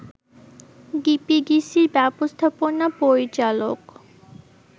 ডিপিডিসির ব্যবস্থাপনা পরিচালক